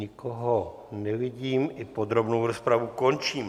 Nikoho nevidím, i podrobnou rozpravu končím.